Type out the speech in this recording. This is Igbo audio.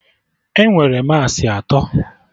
Enwere massị atọ